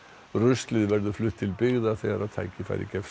ruslið verður flutt til byggða þegar tækifæri gefst